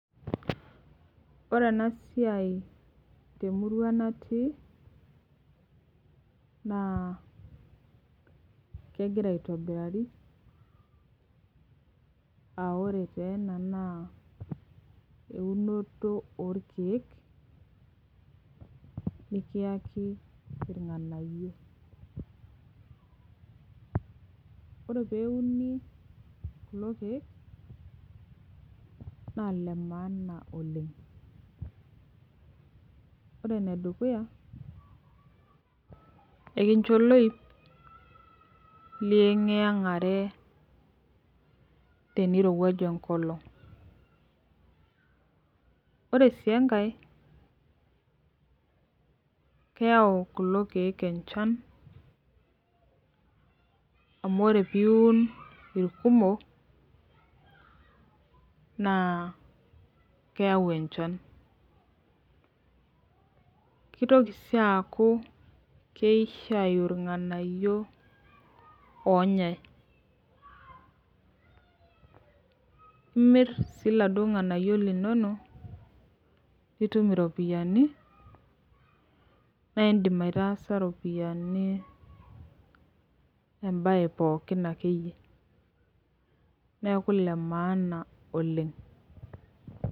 Ore enasiai temurua natii, naa kegira aitobirari, ah ore tena naa eunoto orkeek, nikiyaki irng'anayio. Ore peuni kulo keek, na lemaana oleng. Ore enedukuya, ekincho oloip, liyeng'iyeng'are tenirowuaju enkolong. Ore si enkae, keu kulo keek enchan, amu ore piun irkumok, naa keu enchan. Kitoki si aku keisho ayu irng'anayio onyai. Imir si laduo ng'anayio linono, pitum iropiyiani, na idim aitaasa ropiyiani ebae pookin akeyie. Neeku lemaana oleng.